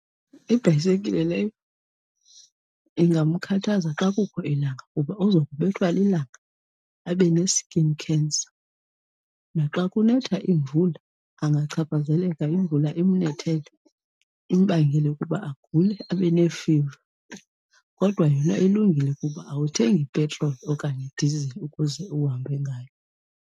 Ibhayisekile leyo ingamkhathaza xa kukho ilanga kuba uza kubethwa lilanga abe ne-skin cancer. Naxa kunetha iimvula angachaphazeleka, imvula imnethele imbangele ukuba agule abe neefiva. Kodwa yona ilungile kuba awuthengi petroli okanye dizili ukuze uhambe ngayo.